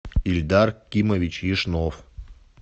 ильдар кимович яшнов